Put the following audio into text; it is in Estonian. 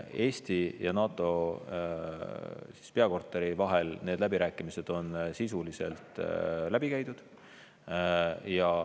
Eesti ja NATO peakorteri vahel need läbirääkimised on sisuliselt läbi käidud.